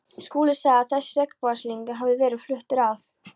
Skúli sagði að þessi regnbogasilungur hefði verið fluttur að